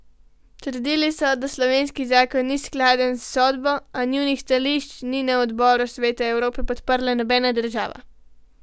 Trdili so, da slovenski zakon ni skladen s sodbo, a njunih stališč ni na odboru Sveta Evrope podprla nobena država.